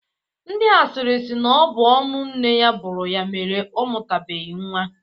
Ndị asịrị sị na ọ bụ ọnụ nne ya buru ya mere ọ mụtabeghi nwa.